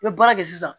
I bɛ baara kɛ sisan